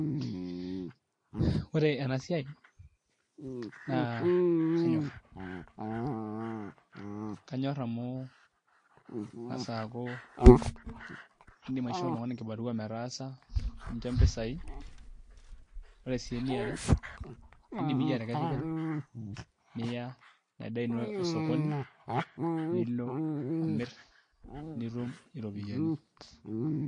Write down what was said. Ore ena siai naa kanyorr kanyorr amu emgas aaku iindim aishoo oltung'ani kibarua metaasa nincho mpisai Ore sii einiare iindim iyie atekesu openy niya ina daa ino osokoni nilo amirr nitum iropiyiani.